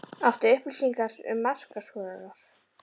Áttu upplýsingar um markaskorara?